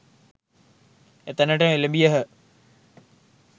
එතැනට එළැඹියහ